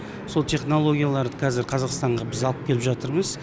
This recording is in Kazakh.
сол технологияларды қазір қазақстанға біз алып келіп жатырмыз